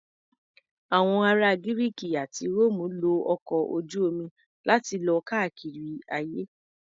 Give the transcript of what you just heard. Àwọn ará Gírìkì àti Róòmù lo ọkọ̀ ojú-omi láti lọ káàkiri ayé.